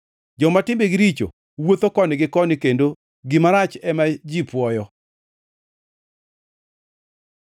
Joma timbegi richo wuotho koni gi koni kendo gima rach ema ji puoyo.